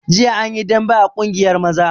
Jiya an yi dambe a ƙungiyar maza